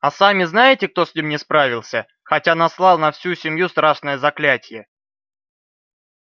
а сами знаете кто с ним не справился хотя наслал на всю семью страшное заклятие